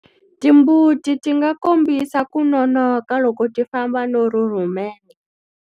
Timbuti ti nga kombisa ku nonoka loko ti famba no rhurhumela.